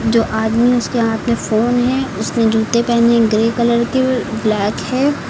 जो आदमी उसके हाथ में फोन है उसने जूते पहने ग्रे कलर की ब्लैक है।